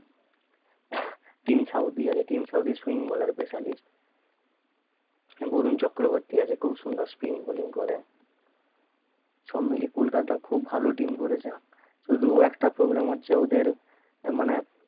team Southee আছে Tim Southee swing baller specialist Varun Chakravarthy আছে খুব সুন্দর spin balling করে সব মিলে কলকাতা খুব ভালো team করেছে শুধু একটা problem আছে ওদের মানে